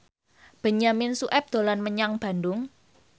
Benyamin Sueb dolan menyang Bandung